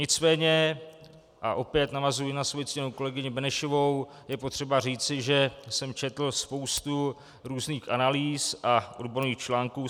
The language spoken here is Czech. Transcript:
Nicméně, a opět navazuji na svoji ctěnou kolegyni Benešovou, je potřeba říci, že jsem četl spoustu různých analýz a odborných článků.